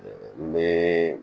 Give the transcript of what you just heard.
N bɛ